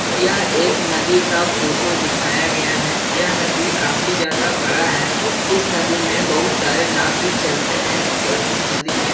यह एक नदी का फोटो दिखाया गया है यह नदी काफी ज्यादा बड़ा है इस नदी में बहुत सारे नाव भी चलते हैं और इस नदी में --